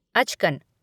अचकन